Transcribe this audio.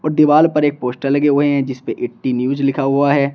दीवाल पर एक पोस्टर लगे हुए हैं जिस पर एटी न्यूज़ लिखा हुआ है।